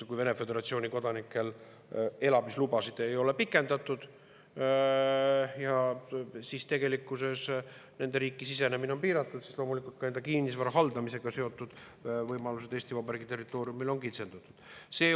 Kui Vene föderatsiooni kodanikel elamislubasid ei ole pikendatud, siis tegelikkuses nende isikute riiki sisenemine on piiratud ja loomulikult ka nende kinnisvara haldamisega seotud võimalused Eesti Vabariigi territooriumil on kitsendatud.